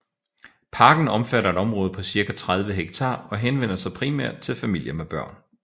Parken omfatter et område på cirka 30 hektar og henvender sig primært til familier med børn